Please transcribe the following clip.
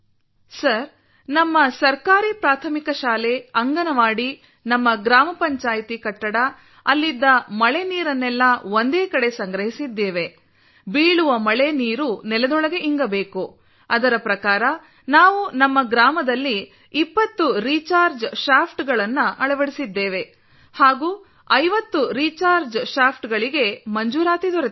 sir ನಮ್ಮ ಸರ್ಕಾರಿ ಪ್ರಾಥಮಿಕ ಶಾಲೆ ಅಂಗನವಾಡಿ ನಮ್ಮ ಗ್ರಾಮ ಪಂಚಾಯ್ತಿ ಕಟ್ಟಡ ಅಲ್ಲಿದ್ದ ಮಳೆ ನೀರನ್ನೆಲ್ಲ ಒಂದೇ ಕಡೆ ಸಂಗ್ರಹಿಸಿದ್ದೇವೆ ಬೀಳುವ ಮಳೆ ನೀರು ನೆಲದೊಳಗೆ ಇಂಗಬೇಕು ಅದರ ಪ್ರಕಾರ ನಾವು ನಮ್ಮ ಗ್ರಾಮದಲ್ಲಿ 20 ರೀಚಾರ್ಜ್ ಶಾಫ್ಟ್ ಗಳನ್ನು ಅಳವಡಿಸಿದ್ದೇವೆ ಮತ್ತು 50 ರೀಚಾರ್ಜ್ ಶಾಫ್ಟ್ ಗಳಿಗೆ ಮಂಜೂರಾತಿ ದೊರೆತಿದೆ